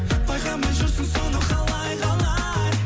байқамай жүрсің соны қалай қалай